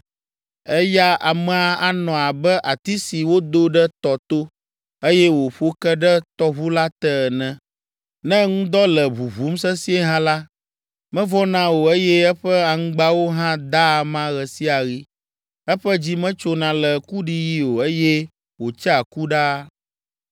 Eya amea anɔ abe ati si wodo ɖe tɔ to, eye wòƒo ke ɖe tɔʋu la te ene. Ne ŋdɔ le ʋuʋum sesĩe hã la, mevɔ̃na o eye eƒe aŋgbawo hã daa ama ɣe sia ɣi. Eƒe dzi metsona le kuɖiɣi o eye wòtsea ku ɖaa.”